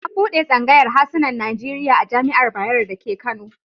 An buɗe tsangayar hasunan Najeriya a Jami'ar Bayero dake Kano.